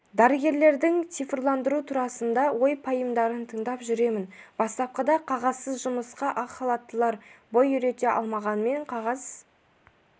дәрігерлердің цифрландыру турасында ой-пайымдарын тыңдап жүремін бастапқыда қағазсыз жұмысқа ақ халаттылар бой үйрете алмағанымен қағаз